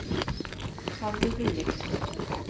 Sander Gulliksen